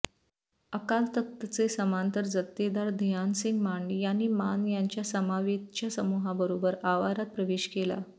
अकाल तख्तचे समांतर जथ्थेदार धिआनसिंग मांड यांनी मान यांच्या समवेतच्या समुहाबरोबर आवारात प्रवेश केला